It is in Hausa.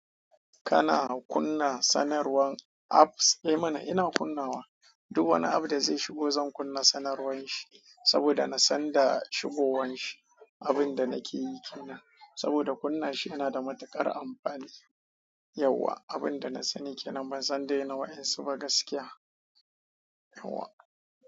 Kana kunna sanarwan apps? Eh mana ina kunnawa, duk wani app da zai shigo zan kunna sanarwan shi saboda na san da shigowan shi. Abin da nake yi kenan saboda kunna shi yana da matuƙar amfani. Yauwa abinda na sani kenan ban san dai na wa'yansu ba dai gaskiya. Yauwa.